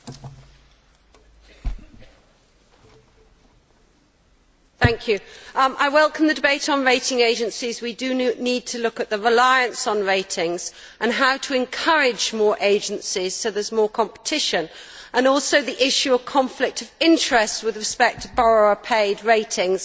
Mr President, I welcome the debate on rating agencies. We do need to look at the reliance on ratings and how to encourage more agencies so that there is more competition, as well as the issue of conflict of interest with respect to borrower paid ratings.